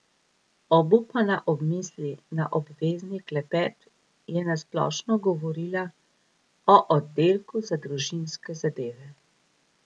Obupana ob misli na obvezni klepet je na splošno govorila o Oddelku za družinske zadeve.